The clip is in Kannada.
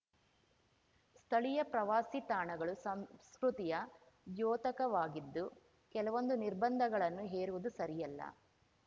ಸ್ಥಳೀಯ ಪ್ರವಾಸಿ ತಾಣಗಳು ಸಂಸ್ಕೃತಿಯ ದ್ಯೋತಕವಾಗಿದ್ದು ಕೆಲವೊಂದು ನಿರ್ಬಂಧಗಳನ್ನು ಹೇರುವುದು ಸರಿಯಲ್ಲ